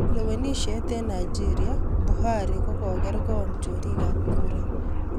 Lewenishet en Nigeria,:Buhari kokonger ngoo chorik ap kura